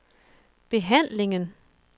behandlingen